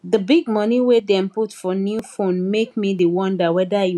the big money wey dem put for new phone make me dey wonder whether e worth am